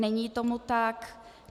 Není tomu tak.